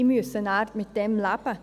Diese müssen nachher damit leben.